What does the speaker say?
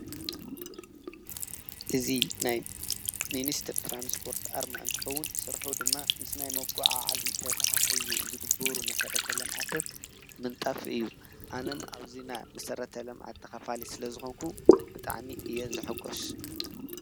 እዚ ናይ ሚንስትር ትራንስፖርት ኣርማ እንተኸወን ስርሑ ድማ ምስ ናይ መጓዓዓዚ ተተሓሒዙ ዝግበሩ መሰረታዊ ልምዓታት ምንጣፍ እዩ። ኣነም ኣብዚ ናይ መሰረታዊ ልምዓት ተካፋላይ ስለ ዝኾንኩ ብጣዕሚ እየ ዝሕጎስ።